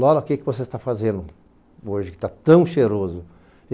Lola, o que você está fazendo hoje que está tão cheiroso?